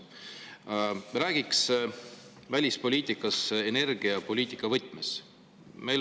Räägiks välispoliitikast energiapoliitika võtmes.